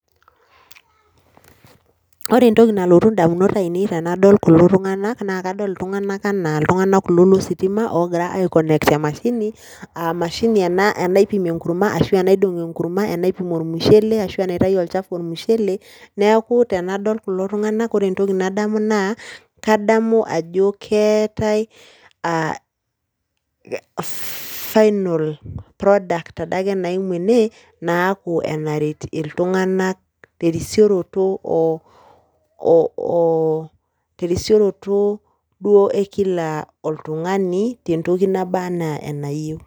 Ore entoki nalotu ndamunot ainei tenadol kulo tung'anak naa kadol iltung'anak enaa iltung'anak kulo lo sitima oogira aiconnect emashini aa emashini ena naipim enkurma ashu enaidong' enkurma, enaipim ormushele ashu enaitayu olchafu ormushele. Neeku tenadol kulo tung'anak, kore entoki nadamu naa kadamu ajo keetai aa fff final product ade ake naimu ene naaku enaret iltung'anak te risioroto oo oo ooo te resirioto duo e kila oltung'ani te ntoki naba naa enayeu.